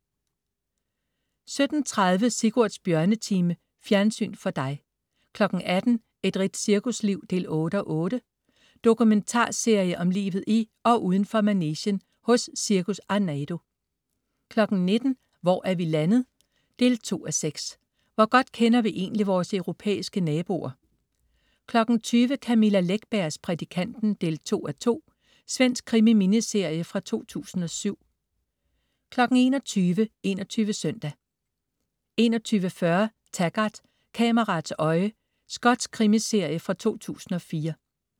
17.30 Sigurds Bjørnetime. Fjernsyn for dig 18.00 Et rigtigt cirkusliv 8:8. Dokumentarserie om livet i og uden for manegen hos Cirkus Arnardo 19.00 Hvor er vi landet? 2:6. Hvor godt kender vi egentlig vores europæiske naboer? 20.00 Camilla Läckbergs Prædikanten 2:2. Svensk krimi-miniserie fra 2007 21.00 21 Søndag 21.40 Taggart: Kameraets øje. Skotsk krimiserie fra 2004